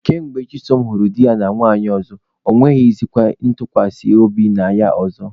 Ka mgbe Chisom hụrụ di ya na nwanyị ọzọ, ọ nweghịzịkwa ntụkwasị obi na ya ọzọ.